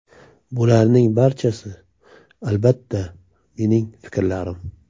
Bularning barchasi, albatta, mening fikrlarim.